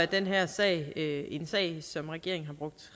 den her sag en sag som regeringen har brugt